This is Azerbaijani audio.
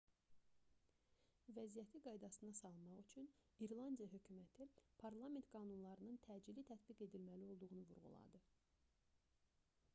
vəziyyəti qaydasına salmaq üçün i̇rlandiya hökuməti parlament qanunlarının təcili tətbiq edilməli olduğunu vurğuladı